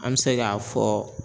An be se ka fɔ